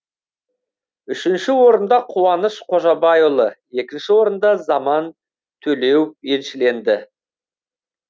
үшінші орында қуаныш қожабайұлы екінші орынды заман төлеуов еншіленді